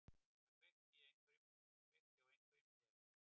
Það kveikti á einhverjum perum.